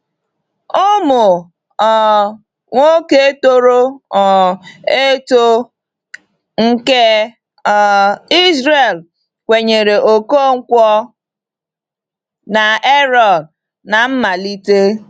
Ụmụ um nwoke toro um eto nke um Izrel kwenyere Ọkọnkwo na Ààrọ̀n n’mmalite.